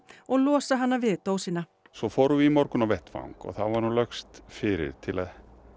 og losa hana við dósina svo fórum við í morgun á vettvang og þá var hún lögst fyrir til að